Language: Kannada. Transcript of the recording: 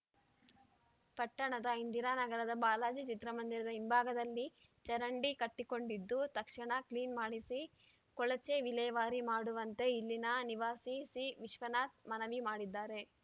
ಪಟ್ಟಣದ ಇಂದಿರಾನಗರದ ಬಾಲಾಜಿ ಚಿತ್ರ ಮಂದಿರದ ಹಿಂಭಾಗದಲ್ಲಿ ಚರಂಡಿ ಕಟ್ಟಿಕೊಂಡಿದ್ದು ತಕ್ಷಣ ಕ್ಲೀನ್ ಮಾಡಿಸಿ ಕೊಳಚೆ ವಿಲೇ ಮಾಡುವಂತೆ ಇಲ್ಲಿನ ನಿವಾಸಿ ಸಿವಿಶ್ವನಾಥ್ ಮನವಿ ಮಾಡಿದ್ದಾರೆ